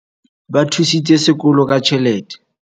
Ba thusitse sekolo ka tjhelete.